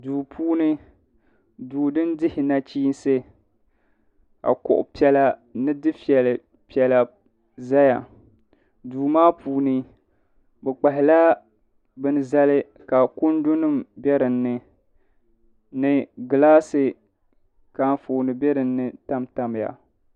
duu puuni duu din dihi nachiinsi ka kuɣu piɛla ni dufɛ piɛla ʒɛya duu maa puuni bi kpahala bin zali ka kundu nim bɛ dinni ni gilaasi ka Anfooni bɛ dinni tamtamya